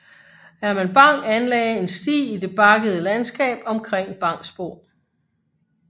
Herman Bang anlagde en sti i det bakkede landskab omkring Bangsbo